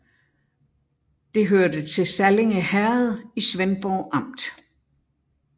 Det hørte til Sallinge Herred i Svendborg Amt